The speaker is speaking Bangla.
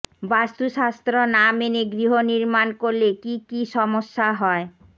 বাস্তুশাস্ত্র না মেনে গৃহ নির্মাণ করলে কী কী সমস্যা হয়